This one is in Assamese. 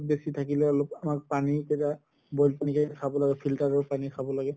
বেচি থাকিলে অলপ আমাক পানি boil কৰি হে খাব লাগে filter ৰ পানি খাব লাগে